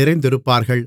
நிறைந்திருப்பார்கள்